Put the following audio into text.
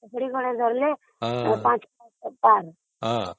ଡ଼ିବିରି ଖଣ୍ଡେ ଜଳିଲେ ....